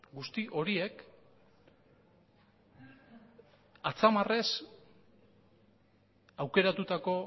guzti horiek atzamarrez aukeratutako